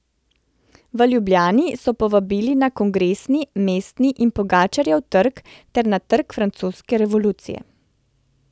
V Ljubljani so povabili na Kongresni, Mestni in Pogačarjev trg ter na Trg francoske revolucije.